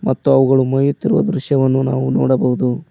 ಮತ್ತು ಅವುಗಳು ಮಯುತ್ತಿರುವ ದೃಶ್ಯವನ್ನು ನಾವು ನೋಡಬಹುದು.